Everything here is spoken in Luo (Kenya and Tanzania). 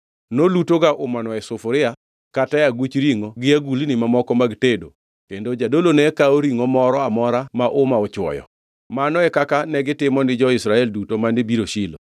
Nolutoga umano e sufuria, kata aguch ringʼo gi agulni mamoko mag tedo kendo jadolo ne kawo ringʼo moro amora ma uma ochwoyo. Mano e kaka negitimo ni jo-Israel duto mane biro Shilo.